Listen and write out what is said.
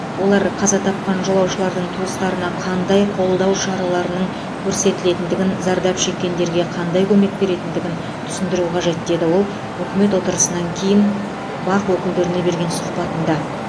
олар қаза тапқан жолаушылардың туыстарына қандай қолдау шараларының көрсетілетіндігін зардап шеккендерге қандай көмек беретіндігін түсіндіруі қажет деді ол үкімет отырысынан кейін бақ өкілдеріне берген сұхбатында